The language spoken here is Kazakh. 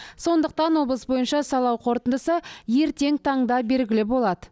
сондықтан облыс бойынша сайлау қорытындысы ертең таңда белгілі болады